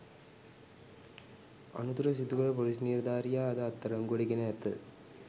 අනතුර සිදුකළ පොලිස් නිලධාරියා අද අත්අඩංගුවට ගෙන ඇත